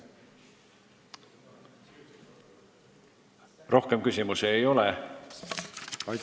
Rohkem küsimusi ei ole.